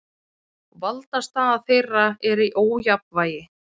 Valdastaða þeirra er í ójafnvægi.